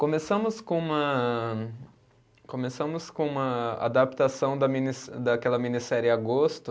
Começamos com uma, começamos com a adaptação da minisse, daquela minissérie Agosto,